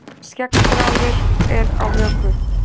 Skeggþráður er á höku.